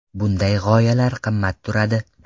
Bunday g‘oyalar qimmat turadi.